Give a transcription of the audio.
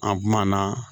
An kumana